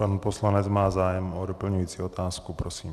Pan poslanec má zájem o doplňující otázku, prosím.